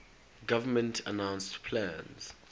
government announced plans